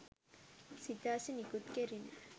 සිතාසි නිකුත් කෙරිණ